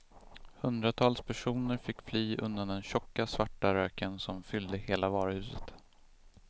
Hundratals personer fick fly undan den tjocka, svarta röken som fyllde hela varuhuset.